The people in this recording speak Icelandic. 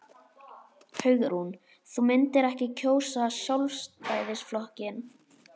Hugrún: Þú myndir ekki kjósa Sjálfstæðisflokkinn?